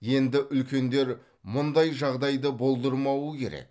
енді үлкендер мұндай жағдайды болдырмауы керек